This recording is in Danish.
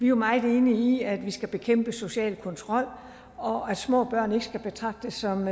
jo meget enige i at vi skal bekæmpe social kontrol og at små børn ikke skal betragtes som